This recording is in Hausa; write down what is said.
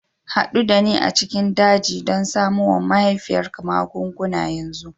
Haɗu da ni a cikin daji don samo wa mahaifiyarka magunguna yanzu!